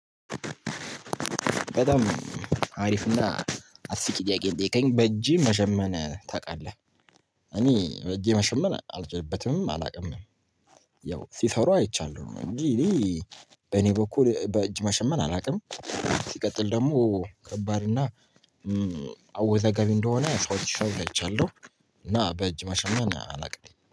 በጣም አሪፍና አስቂኝ ጥያቄ ነው? የጠየከኝ በእጅህ መሸመን ታውቃለህ እኔ በእጄ መሸመን አልችልበትም አላውቅምም። ያው ሲሰሩ አይቻለሁ ነው እንጂ እኔ በእኔ በኩል በእጅ መሸመን አላውቅም። ሲቀጥል ደግሞ ከባድ እና አወዛጋቢ እንደሆነ ሰዎች ስሰሩት አይቻለሁ እና በእጅ መሸመን አለውቅም